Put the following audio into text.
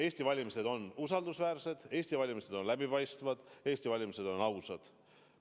Eesti valimised on usaldusväärsed, Eesti valimised on läbipaistvad, Eesti valimised on ausad.